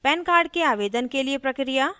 pan card के आवेदन के लिए प्रक्रिया